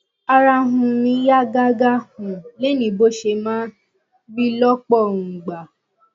ara um mi yá gágá um lénìí bó ṣe máa ń rí lọ́pọ̀ um ìgbà